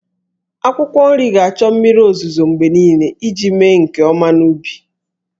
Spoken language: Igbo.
Akwụkwọ nri ga-achọ mmiri ozuzo mgbe niile iji mee nke ọma n'ubi.